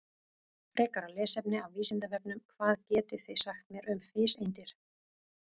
Frekara lesefni af Vísindavefnum: Hvað getið þið sagt mér um fiseindir?